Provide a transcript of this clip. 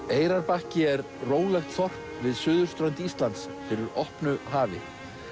Eyrarbakki er rólegt þorp við suðurströnd Íslands fyrir opnu hafi